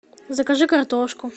закажи картошку